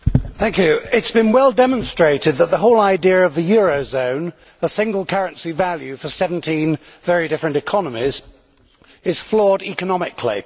Mr President, it has been well demonstrated that the whole idea of the euro zone a single currency value for 17 very different economies is flawed economically.